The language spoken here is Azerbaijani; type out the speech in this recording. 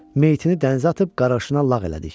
Meyitini dənizə atıb qarğışına lağ elədik.